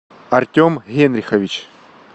артем генрихович